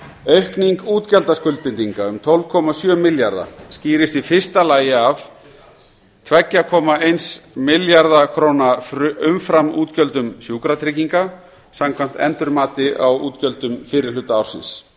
aukning útgjaldaskuldbindinga um tólf komma sjö milljarða skýrist í fyrsta lagi af tveimur komma eins milljarðs króna umframútgjöldum sjúkratrygginga samkvæmt endurmati á útgjöldum fyrri hluta ársins